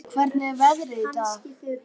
Liljá, hvernig er veðrið í dag?